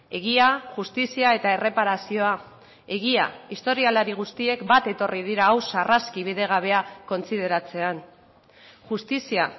egia justizia eta erreparazioa egia historialari guztiek bat etorri dira hau sarraski bidegabea kontsideratzean justizia